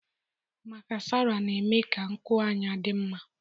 Maskara na-eme ka nkụ anya dị mma.